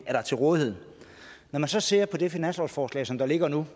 er til rådighed når man så ser på det finanslovsforslag som ligger nu